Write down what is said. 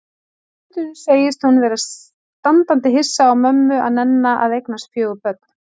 Og stundum segist hún vera standandi hissa á mömmu að nenna að eignast fjögur börn.